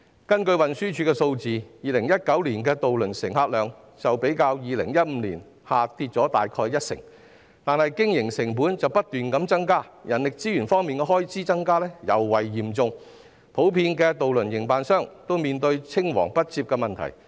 根據運輸署的數字 ，2019 年的渡輪乘客量較2015年下跌了大約一成，但是經營成本卻不斷增加，人力資源開支的增幅更特別高，渡輪營辦商均普遍面對青黃不接的問題。